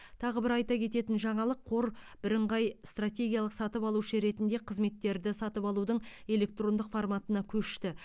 тағы бір айта кететін жаңалық қор бірыңғай стратегиялық сатып алушы ретінде қызметтерді сатып алудың электрондық форматына көшті